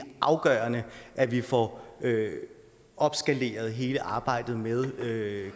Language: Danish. afgørende at vi får opskaleret hele arbejdet med